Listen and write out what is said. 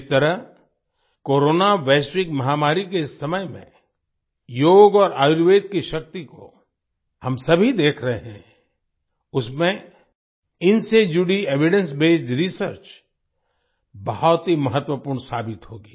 जिस तरह कोरोना वैश्विक महामारी के इस समय में योग और आयुर्वेद की शक्ति को हम सभी देख रहे हैं उसमें इनसे जुड़ी एविडेंस बेस्ड रिसर्च बहुत ही महत्वपूर्ण साबित होगी